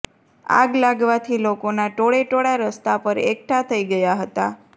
આગ લાગવાથી લોકોના ટોળેટોળા રસ્તા પર એકઠા થઈ ગયા હતા